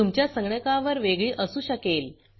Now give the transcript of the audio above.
तुमच्या संगणकावर वेगळी असू शकेल